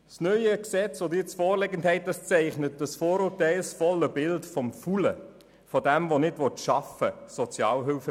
Das neue Gesetz, welches Ihnen vorliegt, zeichnet das vorurteilsvolle Bild vom faulen Sozialhilfebezüger, der nicht arbeiten will.